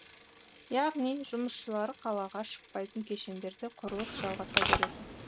яғни жұмысшылары қалаға шықпайтын кешендерде құрылыс жалғаса береді